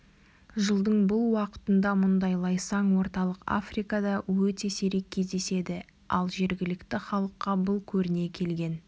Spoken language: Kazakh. жылдың бұл уақытында мұндай лайсаң орталық африкада өте сирек кездеседі ал жергілікті халыққа бұл көріне келген